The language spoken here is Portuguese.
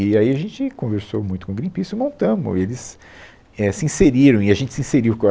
E aí a gente conversou muito com o Greenpeace, e montamos, eles é se inseriram, e a gente se inseriu com a